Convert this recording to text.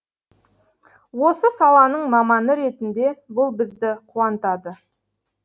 осы саланың маманы ретінде бұл бізді қуантады